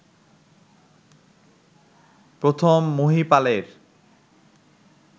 প্রথম মহীপালের